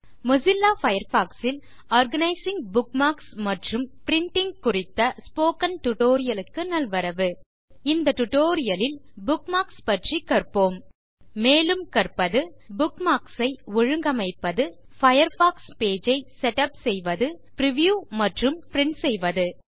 Mozilla Firefox ல்Organizing bookmarks மற்றும் printing குறித்த ஸ்போக்கன் டியூட்டோரியல் க்கு நல்வரவு இந்த டியூட்டோரியல் லில் புக்மார்க்ஸ் பற்றிக் கற்போம் மேலும் கற்கப்பது புக்மார்க்ஸ் ஐ ஒழுங்கமைப்பது பயர்ஃபாக்ஸ் பேஜ் ஐ செட்டப் செய்வது பிரிவ்யூ மற்றும் அதை பிரின்ட் செய்வது